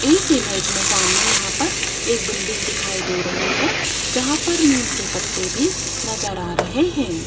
इस इमेज मे सामने यहां पर एक बिल्डिंग दिखाई दे रही है जहां पर नीम के पत्ते भी नज़र आ रहे है।